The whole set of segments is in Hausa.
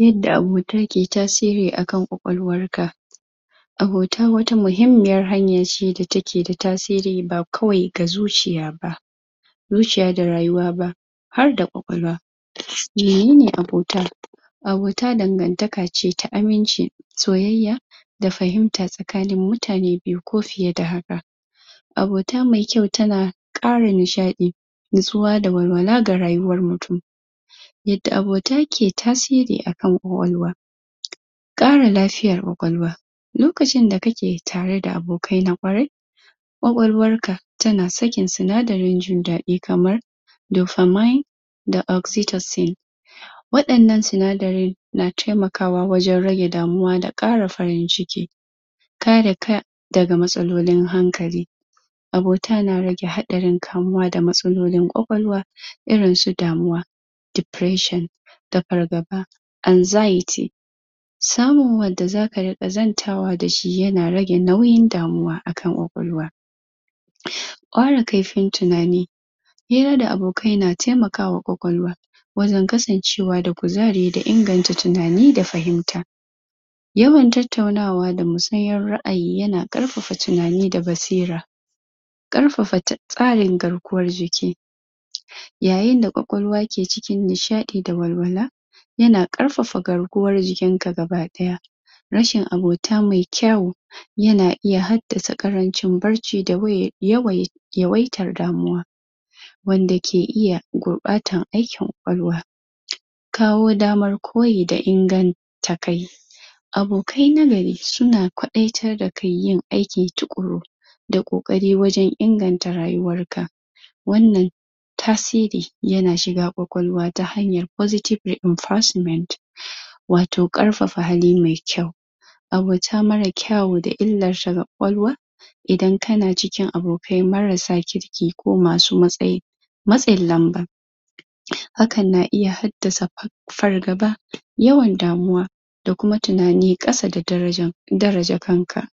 Yadda abota ke tasiri a kan ƙwaƙwalwar ka abota wata muhimmiyar hanya ce da take da tasiri ba kawai ga zuciya ba zuciya da rayuwa ba har da ƙwaƙwalwa menene abota? abota dangantaka ce ta aminci soyayya da fahimta tsakanin mutane biyu ko fiye da haka abota mai kyau tana ƙara nishaɗi nutsuwa da walwala ga rayuwar mutum yadda abota ke tasiri a kan ƙwaƙwalwa ƙara lafiyar ƙwaƙwalwa lokacin da kake tare da abokai na ƙwarai ƙwaƙwalwar ka tana sakin sinadarin jin daɗi kaman dopamine da oxytocin waɗannan sinadaran na taimakawa wajen rage damuwa da ƙara farin ciki kare ka daga matsalolin hankali abota na rage haɗarin kamuwa da matsalolin ƙwaƙwalwa irin su damuwa (depression) da fargaba (anxiety) samun wanda zaka riƙa zantawa da shi yana rage nauyin damuwa a kan ƙwaƙwalwa ƙara kaifin tunani hira da abokai yana taimakawa ƙwaƙwalwa wajen kasancewa da kuzari da inganta tunani da fahimta yawan tattaunawa da musayar ra'ayi yana ƙarfafa tunani da basira ƙarfafa tsarin garkuwar jiki yayin d ƙwaƙwalwa ke cikin nishaɗi da walwala yana ƙarfafa garkuwar jikinka gaba ɗaya rashin abota mai kyawu yana iya haddasa ƙarancin bacci da yawaita yawaitar damuwa wanda ke iya gurɓata aikin ƙwaƙwalwa kawo damar koyi da inganta kai abokai na gari suna kwaɗaitar da kai yin aiki tuƙuru da ƙoƙari wajen inganta rayuwar ka wannan tasiri yana shiga ƙwaƙwalwa ta hanyar positive reinforcement watau ƙarfafa hali mai kyau abota mara kyawu da illar ta ga ƙwaƙwalwa idan kana cikin abokai marasa kirki ko masu matsin lamba hakan na iya haddasa fargaba yawan damuwa da kuma tunani ƙasa da daraja daraja kanka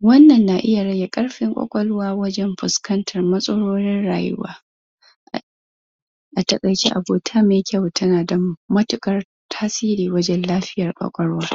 wannan na iya rage ƙarfin ƙwaƙwalwa wajen fuskantar matsalolin rayuwa a taƙaice abota mai kyau tana da matuƙar tasiri wajen lafiyar kwaƙwalwa